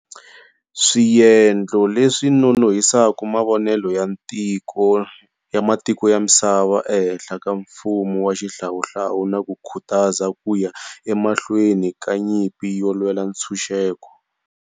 Swiendlo leswi nonohise mavonelo ya matiko ya misava ehenhla ka mfumo wa xihlawuhlawu na ku khutaza ku ya emahlweni ka nyimpi yo lwela ntshunxeko.